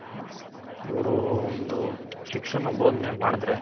ಅವ್ರು ಒಂದು ಶಿಕ್ಷಣ ಬೋದ್ನೆ ಮಾಡಿದ್ರೆ